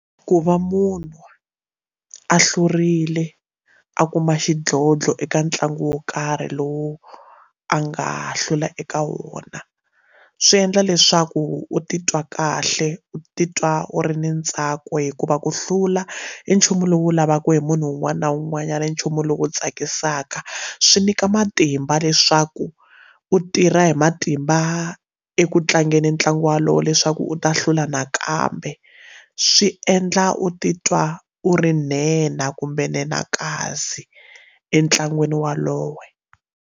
Ku va munhu a hlurile a kuma xidlodlo eka ntlangu wo karhi lowu a nga hlula eka wona swi endla leswaku u titwa kahle u titwa u ri ni ntsako hikuva ku hlula i nchumu lowu lavaka hi munhu un'wana na un'wanyana i nchumu lowu tsakisaka swi nyika matimba leswaku u tirha hi matimba eku tlangeni ntlangu walowo leswaku u ta hlula nakambe swi endla u titwa u ri nhenha kumbe nhenhakasi entlangwini waloye.